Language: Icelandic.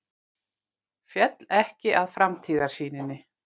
Féll ekki að framtíðarsýninni